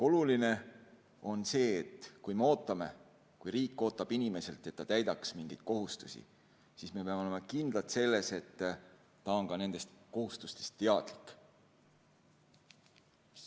Oluline on see, et kui me ootame, kui riik ootab inimeselt, et ta täidaks mingeid kohustusi, siis me peame olema kindlad, et ta on ka nendest kohustustest teadlik.